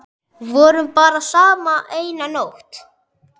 Vorum bara saman eina nótt.